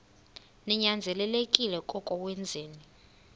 ninyanzelekile koko wenzeni